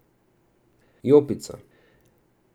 Jopica.